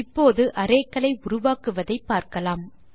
இப்போது அரே களை உருவாக்குவதை பார்க்கலாம்